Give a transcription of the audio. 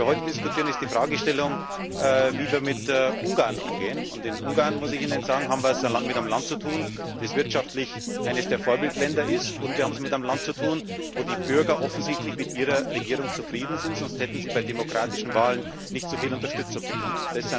Was wir heute diskutieren, ist die Fragestellung, wie wir mit Ungarn umgehen. Mit Ungarn, muss ich Ihnen sagen, haben wir es mit einem Land zu tun, das wirtschaftlich eines der Vorbildländer ist, und wir haben es mit einem Land zu tun, in dem die Bürger offensichtlich mit ihrer Regierung zufrieden sind, sonst hätte sie bei demokratischen Wahlen nicht so viel Unterstützung bekommen.